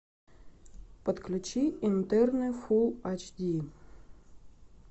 подключи интерны фулл эйч ди